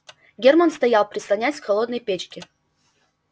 германн стоял прислонясь к холодной печке